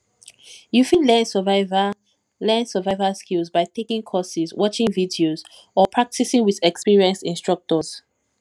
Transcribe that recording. you fit learn survival learn survival skills by taking courses watching videos or practicing with experienced instructors